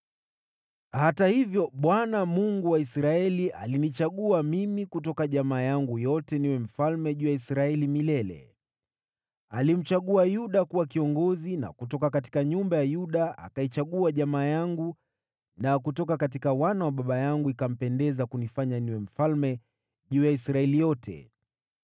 “Hata hivyo, Bwana , Mungu wa Israeli, alinichagua mimi kutoka jamaa yangu yote niwe mfalme juu ya Israeli milele. Alimchagua Yuda kuwa kiongozi na kutoka nyumba ya Yuda akaichagua jamaa yangu na kutoka wana wa baba yangu ikampendeza kunifanya niwe mfalme juu ya Israeli yote.